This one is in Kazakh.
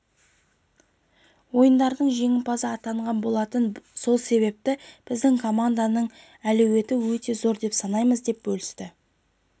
ойындарының жеңімпазы атанған болатын сол себепті біздің команданың әлеуеті өте зор деп санаймыз деп бөлісті